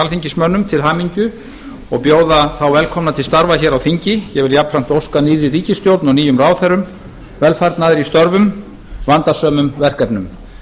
alþingismönnum til hamingju og bjóða þá velkomna til starfa hér á þingi ég vil jafnframt óska nýrri ríkisstjórn og nýjum ráðherrum velfarnaðar í störfum vandasömum verkefnum